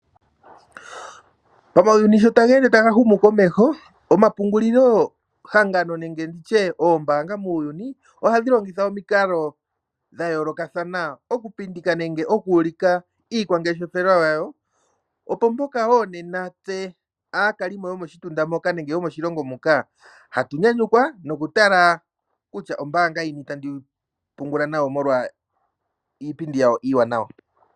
Uuyuni sho taweende tawu humu komeho omapungulilo hangano nenge oombaanga ohadhi longitha omikalo dhayooloka okupindika nenge okuliika iikwangeshelo yawo, opo mpoka wo aakalimo yo.oshitunda moka nenge yomoshilongo hatu nyanyukwa noku tala kutya ombaanga yini tandi pungula nayo molwa iipindi yawo iiwanawa.